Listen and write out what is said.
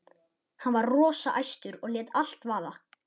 Hann var rosa æstur og lét allt vaða.